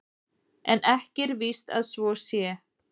En ekki er víst að svo sé.